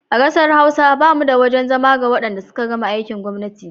A ƙasa Hausa ba mu da wajen zama ga wadanda suka gama aikin gwamnati.